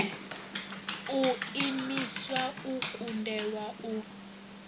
u imiswa u kundelwa u